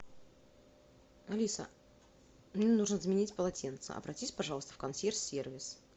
алиса мне нужно заменить полотенце обратись пожалуйста в консьерж сервис